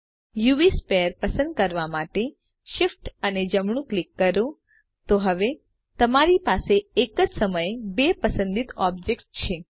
UV sphere પસંદ કરવા માટે શિફ્ટ અને જમણું ક્લિક કરો તો હવે તમારી પાસે એક જ સમયે બે પસંદિત ઑબ્જેક્ટ્સ છે